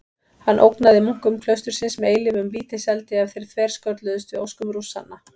Hann ógnaði munkum klaustursins með eilífum vítiseldi ef þeir þverskölluðust við óskum Rússanna.